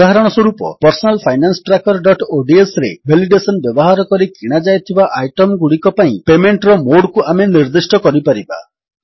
ଉଦାହରଣସ୍ୱରୂପ Personal Finance Trackerodsରେ validation ବ୍ୟବହାର କରି କିଣାଯାଇଥିବା ଆଇଟମଗୁଡ଼ିକ ପାଇଁ ପେମେଣ୍ଟର ମୋଡ୍ କୁ ଆମେ ନିର୍ଦ୍ଦିଷ୍ଟ କରିପାରିବା